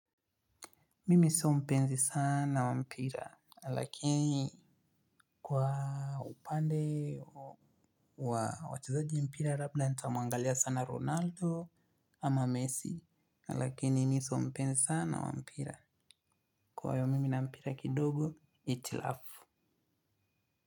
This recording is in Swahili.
Mimi sio mpenzi sana wa mpira, lakini kwa upande wa wachezaji mpira, labda nitamwangalia sana Ronaldo ama Messi, lakini mi sio mpenzi sana wa mpira. Kwa hiyo mimi na mpira kidogo, hitilafu.